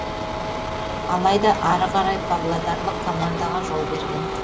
алайда ары қарай павлодарлық командаға жол берген